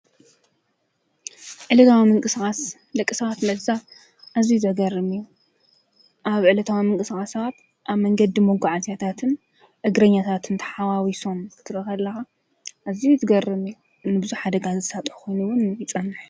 ዕለታዊ ምንቅስቃስ ደቂ ሰባት ለዛም ኣዚዩ ዘግርም እዩ። ኣብ ዕለታዊ ምንቅሳቃሳት ኣብ መንገድ መጓዓዝያታትን እግረኛታትን ተሓዋውሶም ክትርኢ ተለኻ ኣዝዩ ዝገርም እዩ። ንብዝሕ ሓደጋ ዘሳጥሕ ኮይኑ እውን ይፅንሕ።